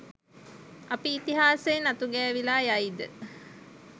අපි ඉතිහාසයෙන් අතුගෑවිලා යයිද?